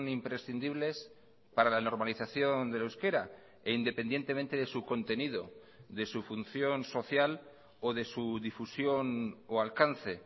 imprescindibles para la normalización del euskera e independientemente de su contenido de su función social o de su difusión o alcance